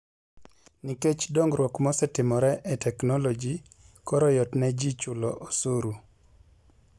Nikech dongruok mosetimore e teknoloji, koro yot ne ji chulo osuru.